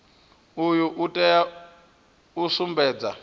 uyu u tea u sumbedza